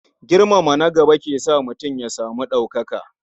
Girmama na gaba ke sa mutum ya samu ɗaukaka.